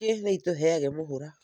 Njũkĩ nĩ ĩtũheaga mũhũra.